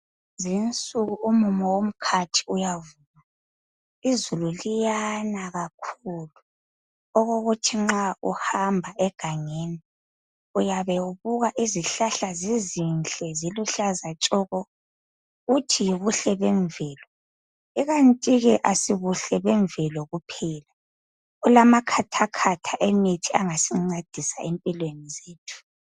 Kulezi insuku umumo womkhathi uyavuma. Izulu liyana kakhulu okokuthi nxa uhamba egangeni uyabe ubuka izihlahla zizinhle ziluhlaza tshoko uthi yibuhle bemvelo ikanti ke asibuhle bemvelo kuphela kulamakhathakhatha emithi angasincedisa empilweni zethu.